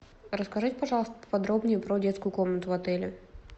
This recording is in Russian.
расскажите пожалуйста поподробнее про детскую комнату в отеле